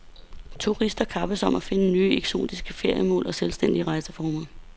Turister kappes om at finde nye, eksotiske feriemål og selvstændige rejseformer.